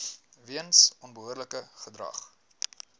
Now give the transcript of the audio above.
weens onbehoorlike gedrag